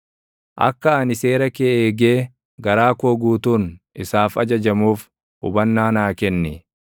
Akka ani seera kee eegee garaa koo guutuun isaaf ajajamuuf hubannaa naa kenni.